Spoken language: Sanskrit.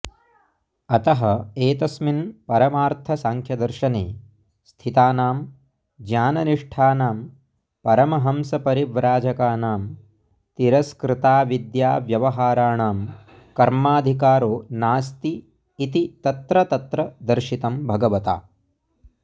अतः एतस्मिन् परमार्थसाङ्ख्यदर्शने स्थितानां ज्ञाननिष्ठानां परमहंसपरिव्राजकानां तिरस्कृताविद्याव्यवहाराणां कर्माधिकारो नास्ति इति तत्र तत्र दर्शितं भगवता